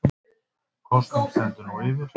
Kosning stendur nú yfir